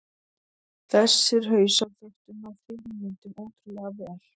Þessir hausar þóttu ná fyrirmyndunum ótrúlega vel.